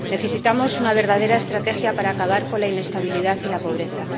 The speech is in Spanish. Necesitamos una verdadera estrategia para acabar con la inestabilidad y la pobreza